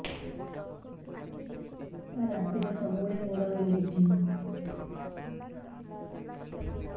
ରାତିରେ ସବୁବେଳେ ଗୋଡ ବିନ୍ଧୁଛି